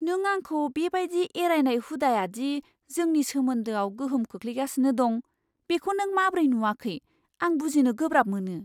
नों आंखौ बे बायदि एरायनाय हुदाया दि जोंनि सोमोन्दोआव गोहोम खोख्लैगासिनो दं, बेखौ नों माब्रै नुआखै आं बुजिनो गोब्राब मोनो!